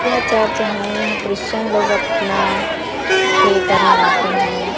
यह चर्च है यहाँ क्रिश्चियन लोग अपना प्रे करने आते हैं।